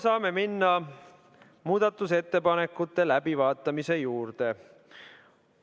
Saame minna muudatusettepanekute läbivaatamise juurde.